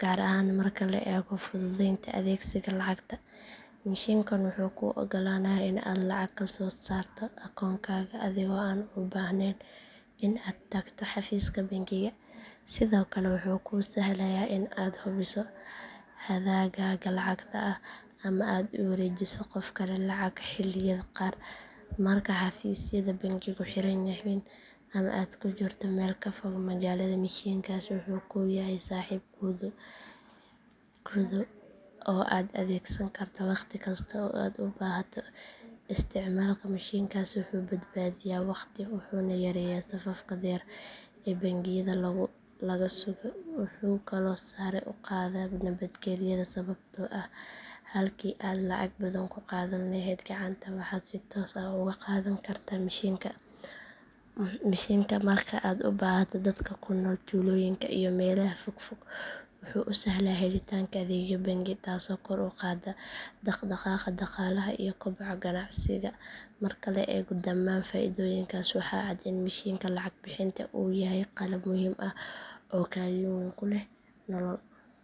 gaar ahaan marka la eego fududeynta adeegsiga lacagta mishiinkan wuxuu kuu oggolaanayaa in aad lacag ka soo saarto akoonkaaga adigoo aan u baahnayn in aad tagto xafiiska bangiga sidoo kale wuxuu kuu sahlayaa in aad hubiso hadhaagaaga lacagta ah ama aad u wareejiso qof kale lacag xilliyada qaar marka xafiisyada bangigu xiran yihiin ama aad ku jirto meel ka fog magaalada mishiinkaasi wuxuu kuu yahay saaxiib kuu dhow oo aad adeegsan karto waqti kasta oo aad u baahato isticmaalka mishiinkaasi wuxuu badbaadiyaa waqti wuxuuna yareeyaa safafka dheer ee bangiyada laga sugo wuxuu kaloo sare u qaadaa nabadgelyada sababtoo ah halkii aad lacag badan ku qaadan lahayd gacanta waxaad si toos ah uga qaadan kartaa mishiinka marka aad u baahato dadka ku nool tuulooyinka iyo meelaha fog fog wuxuu u sahlaa helitaanka adeegyo bangi taasoo kor u qaadda dhaqdhaqaaqa dhaqaalaha iyo koboca ganacsiga marka la eego dhamaan faa'iidooyinkaas waxaa cad in mishiinka lacag bixinta uu yahay qalab muhiim ah oo kaalin weyn ku leh nolol maalmeedka bulshada casriga ah